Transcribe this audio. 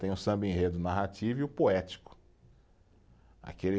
Tem o samba-enredo narrativo e o poético, aquele